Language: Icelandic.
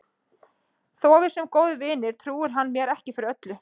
Þó að við séum góðir vinir trúir hann mér ekki fyrir öllu.